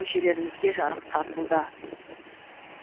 көшелерімізге жарық тартылды